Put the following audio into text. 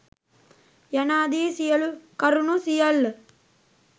යනාදී සියලු කරුණු සියල්ල